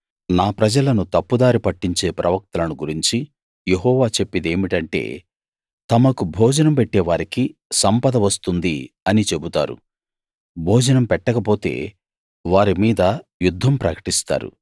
నా ప్రజలను తప్పుదారి పట్టించే ప్రవక్తలను గురించి యెహోవా చెప్పేదేమిటంటే తమకు భోజనం పెట్టేవారికి సంపద వస్తుంది అని చెబుతారు భోజనం పెట్టకపోతే వారి మీద యుద్ధం ప్రకటిస్తారు